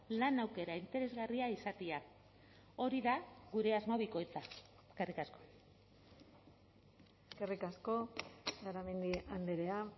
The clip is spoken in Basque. lan aukera interesgarria izatea hori da gure asmo bikoitza eskerrik asko eskerrik asko garamendi andrea